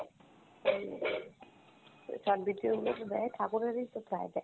ওই short video গুলো তে দেয়, ঠাকুরের ই তো প্রায় দেয়।